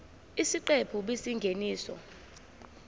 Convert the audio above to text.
isiqephu b isingeniso